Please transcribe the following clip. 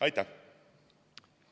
Aitäh!